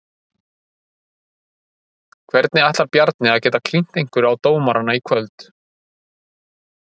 Hvernig ætlar Bjarni að geta klínt einhverju á dómarana í kvöld?